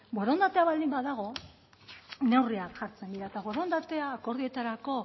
borondatea baldin badago neurriak jartzen dira eta borondatea akordioetarako